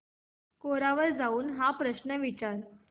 कोरा वर जाऊन हा प्रश्न विचार